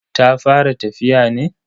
Ta fara tafiya ne?